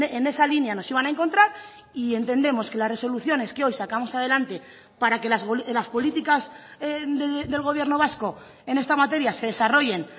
en esa línea nos iban a encontrar y entendemos que las resoluciones que hoy sacamos adelante para que las políticas del gobierno vasco en esta materia se desarrollen